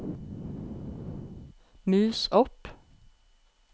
mus opp